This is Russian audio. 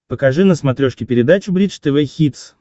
покажи на смотрешке передачу бридж тв хитс